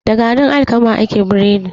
Da garin alkama ake burodi.